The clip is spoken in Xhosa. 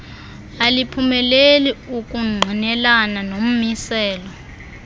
aliphumeleli ukungqinelana nommiselo